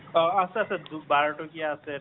অ আছে আছে বাৰ টকিয়া আছে